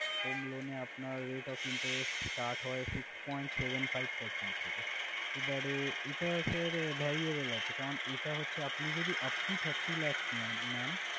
Home loan এ আপনার rate of interest start হয় six point seven five percent থেকে। এবারে এটা sir variable আছে, কারণ এটা হচ্ছে আপনি যদি upto thirty lakhs নে~ নেন।